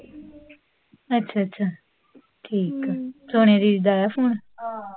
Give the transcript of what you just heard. ਅੱਛਾ ਅੱਛਾ, ਠੀਕ ਆ, ਸੋਨੀਆ ਦੀਦੀ ਦਾ ਆਇਆ ਫੋਨ?